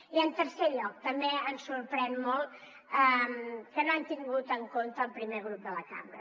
i en tercer lloc també ens sorprèn molt que no han tingut en compte el primer grup de la cambra